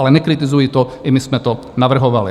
Ale nekritizuji to, i my jsme to navrhovali.